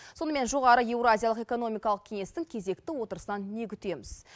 сонымен жоғары еуразиялық экономикалық кеңестің кезекті отырысынан не күтеміз